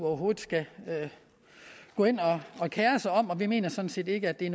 skal gå ind og kere sig om og vi mener sådan set ikke at det